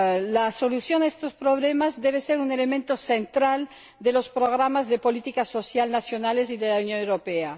La solución a estos problemas debe ser un elemento central de los programas de política social nacionales y de la Unión Europea.